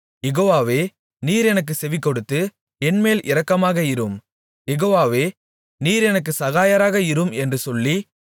யெகோவாவே நீர் எனக்குச் செவிகொடுத்து என்மேல் இரக்கமாக இரும் யெகோவாவே நீர் எனக்குச் சகாயராக இரும் என்று சொல்லி